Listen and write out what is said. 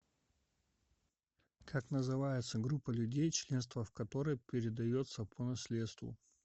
как называется группа людей членство в которой передается по наследству